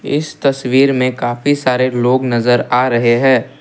इस तस्वीर में काफी सारे लोग नजर आ रहे हैं।